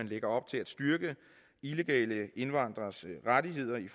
lægger op til at styrke illegale indvandreres rettigheder i